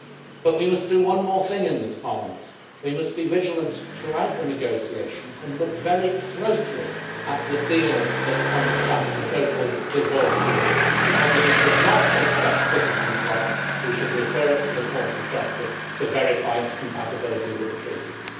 But we must do one more thing in this Parliament we must be vigilant throughout the negotiations and look very closely at the deal that comes back, the so called divorce deal, because if it does not respect citizens' rights we should refer it to the Court of Justice to verify its compatibility with the Treaties.